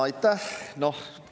Aitäh!